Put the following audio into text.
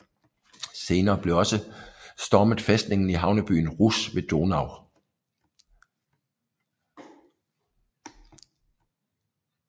Senere blev også stormet fæstningen i havnebyen Rousse ved Donau